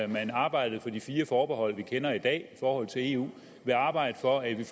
man arbejdede for de fire forbehold vi kender i dag i forhold til eu vil arbejde for at vi